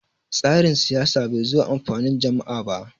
tsarin siyasa bai zo amfanin jam`a ba